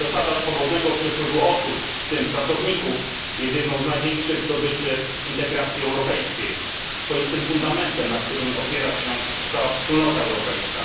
Zasada swobodnego przepływu osób, w tym pracowników, jest jedną z największych zdobyczy integracji europejskiej, swoistym fundamentem, na którym opiera się cała wspólnota europejska.